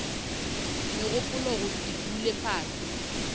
megopolo go se dule fase